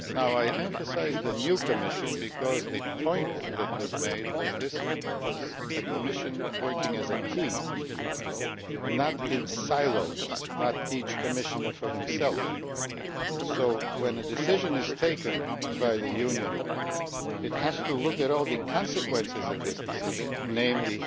I emphasise the new Commission because the point that was made was that this was a Commission working as a team not in silos, not each Commissioner for himself so, when a decision is taken by the Union, it has to look at all the consequences of this decision, namely